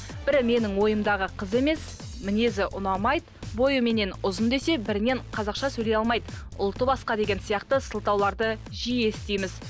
бірі менің ойымдағы қыз емес мінезі ұнамайды бойы меннен ұзын десе бірінен қазақша сөйлей алмайды ұлты басқа деген сияқты сылтауларды жиі естиміз